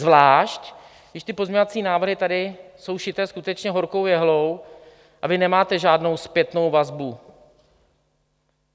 Zvlášť když ty pozměňovací návrhy tady jsou šité skutečně horkou jehlou a vy nemáte žádnou zpětnou vazbu.